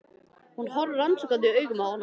Hún horfir rannsakandi augum á hana.